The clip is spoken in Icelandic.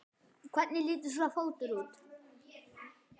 Hvernig lítur sá fótur út?